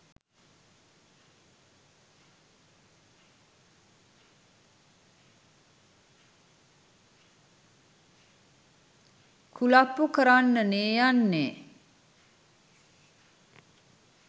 කුලප්පු කරන්නනෙ යන්නෙ.